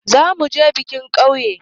Za mu je biki a ƙauye.